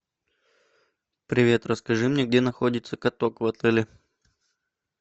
привет расскажи мне где находится каток в отеле